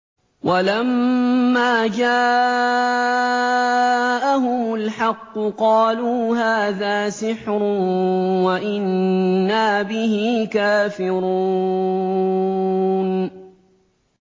وَلَمَّا جَاءَهُمُ الْحَقُّ قَالُوا هَٰذَا سِحْرٌ وَإِنَّا بِهِ كَافِرُونَ